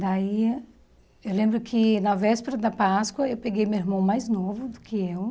Daí, eu lembro que na véspera da Páscoa eu peguei meu irmão mais novo do que eu.